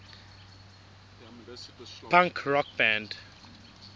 punk rock band